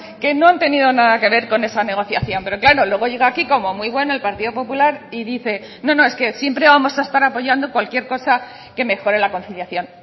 que no han tenido nada que ver con esa negociación pero claro luego llega aquí como muy bueno el partido popular y dice no no es que siempre vamos a estar apoyando cualquier cosa que mejore la conciliación